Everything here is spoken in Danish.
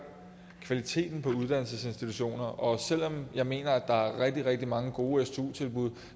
kvaliteten på uddannelsesinstitutioner og selv om jeg mener at der er rigtig rigtig mange gode stu tilbud